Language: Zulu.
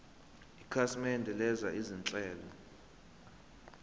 ikhasimende lenza izinhlelo